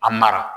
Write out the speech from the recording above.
A mara